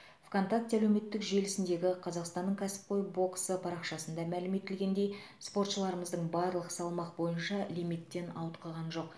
вконтакте әлеуметтік желісіндегі қазақстанның кәсіпқой боксы парақшасында мәлім етілгендей спортшыларымыздың барлығы салмақ бойынша лимиттен ауытқыған жоқ